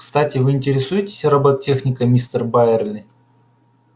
кстати вы интересуетесь роботехникой мистер байерли